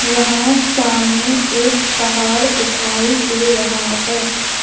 यहां सामने एक पहाड़ दिखाई दे रहा है।